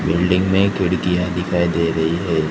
Building में खिड़कियां दिखाई दे रही है।